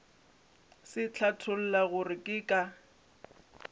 se hlatholla gore ke ka